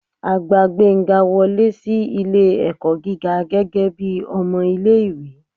a gbá gbenga wọle si ilé-ẹkọ gígá gẹgẹbi ọmọ ìlé-ìwé